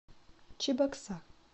чебоксар